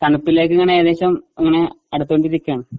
തണുപ്പിലേക്കിങ്ങനെ ഏകദേശം ഇങ്ങനെ അടുത്തുകൊണ്ടിരിക്കുകയാണ്.